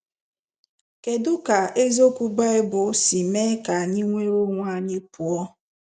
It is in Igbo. Kedu ka eziokwu Bible si mee ka anyị nwere onwe anyị pụọ